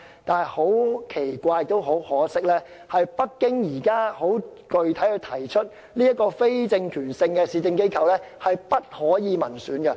但很奇怪亦很可惜的是，北京現在很具體地提出，這個非政權性市政機構的成員不可由民選產生。